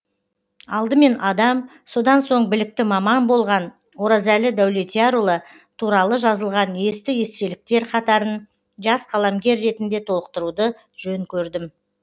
алдымен адам содан соң білікті маман болған оразәлі дәулетиярұлы туралы жазылған есті естеліктер қатарын жас қаламгер ретінде толықтыруды жөн көрдім